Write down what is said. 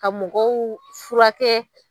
Ka mɔgɔw furakɛ